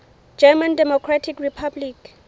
german democratic republic